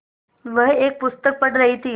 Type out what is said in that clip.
वह एक पुस्तक पढ़ रहीं थी